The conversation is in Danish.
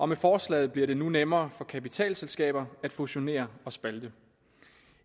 med forslaget bliver det nu nemmere for kapitalselskaber at fusionere og spalte